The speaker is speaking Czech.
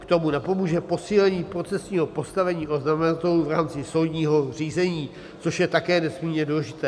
K tomu napomůže posílení procesního postavení oznamovatelů v rámci soudního řízení, což je také nesmírně důležité.